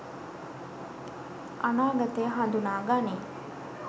අනාගතය හඳුනා ගනී.